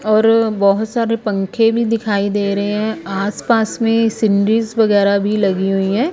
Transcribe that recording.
और बहोत सारे पंखे भी दिखाई दे रहे हैं आस पास में सीनिरीज वगैरा भी लगी हुई है।